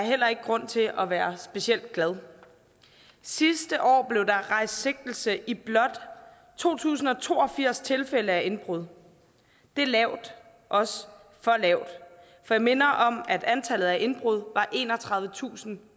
heller ikke grund til at være specielt glad sidste år blev der rejst sigtelse i blot to tusind og to og firs tilfælde af indbrud det er lavt også for lavt for jeg minder om at antallet af indbrud var enogtredivetusinde og